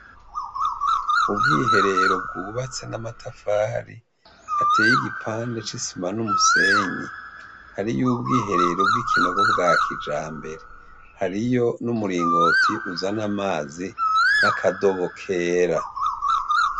Ubwiherero bwubatse n'amatafari ateye igipande c'isima n'umusenyi ,hariyo ubwiherero bw'ikinogo bwa kijambere, hariyo n'umuringoti uzana amazi n'akadobo kera.